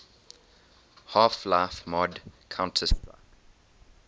half life mod counter strike